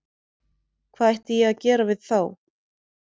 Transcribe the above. Hvað ætti ég að gera við þá?